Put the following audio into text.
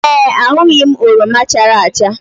Ee, ahụghị m oroma chara acha